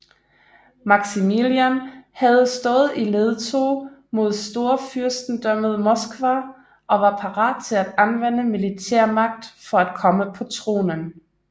Maximilian havde stået i ledtog med Storfyrstendømmet Moskva og var parat til at anvende militærmagt for at komme på tronen